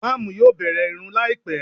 Ìmáàmù yóò bẹ̀rẹ̀ ìrun láìpé